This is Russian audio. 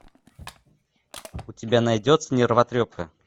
у тебя найдется нервотрепка